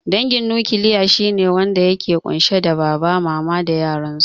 Dangin nukiliya shine wanda yake ƙunshe da baba, mama da yara